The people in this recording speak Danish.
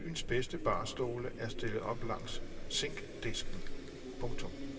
Byens bedste barstole er stillet op langs zinkdisken. punktum